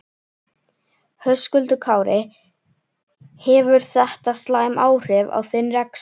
Höskuldur Kári: Hefur þetta slæm áhrif á þinn rekstur?